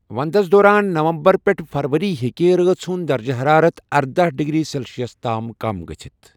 ونٛدَس دوران نومبر پیٹھ فروری ہیکہِ راژ ہُنٛد دَرجہٕ حَرارَت ارداہ ڈگری سیلسیس تام کم گٔژھِتھ